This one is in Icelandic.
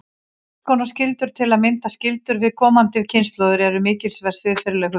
Margs konar skyldur, til að mynda skyldur við komandi kynslóðir, eru mikilsverð siðferðileg hugtök.